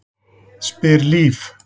spyr Líf.